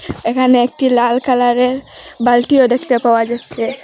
এখানে একটি লাল কালারের বালটিও দেখতে পাওয়া যাচ্ছে।